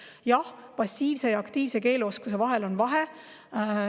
Jah, passiivsel ja aktiivsel keeleoskusel on vahe.